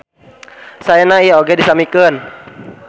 Saena ieu oge disamikeun.